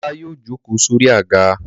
Ọlá yóò jókòó sí orí àga.